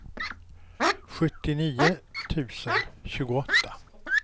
sjuttionio tusen tjugoåtta